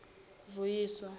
vuyiswa